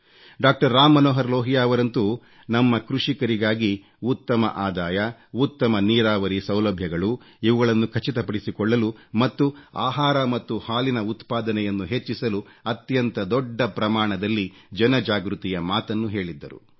doctor Ram Manohar ಲೋಹಿಯಾರವರಂತೂ ನಮ್ಮ ಕೃಷಿಕರಿಗಾಗಿ ಉತ್ತಮ ಆದಾಯ ಉತ್ತಮ ನೀರಾವರಿ ಸೌಲಭ್ಯಗಳು ಇವುಗಳನ್ನು ಖಚಿತಪಡಿಸಿಕೊಳ್ಳಲು ಮತ್ತು ಆಹಾರ ಮತ್ತು ಹಾಲಿನ ಉತ್ಪಾದನೆಯನ್ನು ಹೆಚ್ಚಿಸಲು ಅತ್ಯಂತ ದೊಡ್ಡ ಪ್ರಮಾಣದಲ್ಲಿ ಜನಜಾಗೃತಿಯ ಮಾತನ್ನು ಹೇಳಿದ್ದರು